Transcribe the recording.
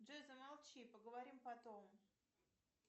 джой замолчи поговорим потом